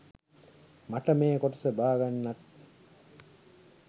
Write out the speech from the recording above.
මට මේ කොටස බාගන්නත්.